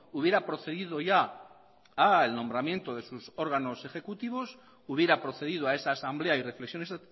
hubiera procedido ya al nombramiento de sus órganos ejecutivos hubiera procedido a esa asamblea y reflexiones